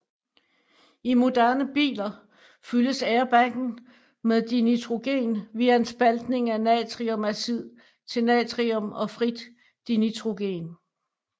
I moderne biler fyldes airbaggen med dinitrogen via en spaltning af natriumazid til natrium og frit dinitrogen